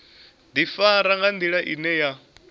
ḓifara nga nḓila ine ya